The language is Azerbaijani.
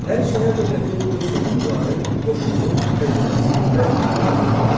Hər şəhər dövlətinin öz hökümdarı, qoşunu, xəzinəsi və pulu var idi.